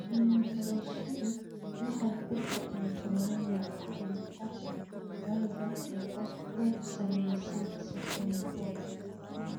Cilmi-baarayaashu waxay ku qeexeen toddoba nooc oo cudurka Farber ah oo ku saleysan sifooyinkooda.